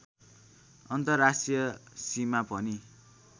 अन्तर्राष्ट्रीय सीमा पनि